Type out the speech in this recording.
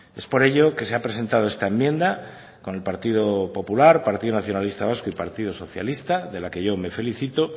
es por ello que se ha presentado esta enmienda con el partido popular partido nacionalista vasco y partido socialista de la que yo me felicito